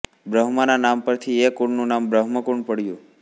બ્રહ્માના નામ પરથી એ કુંડનું નામ બ્રહ્મકુંડ પડ્યું